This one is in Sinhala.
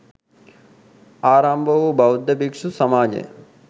ආරම්භවූ බෞද්ධ භික්‍ෂු සමාජය